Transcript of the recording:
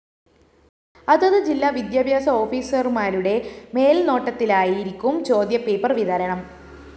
അതത് ജില്ലാ വിദ്യാഭ്യാസ ഓഫീസര്‍മാരുടെ മേല്‍നോട്ടത്തിലായിരിക്കും ചോദ്യപേപ്പര്‍ വിതരണം